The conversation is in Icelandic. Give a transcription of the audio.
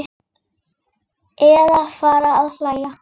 Eða fara að hlæja.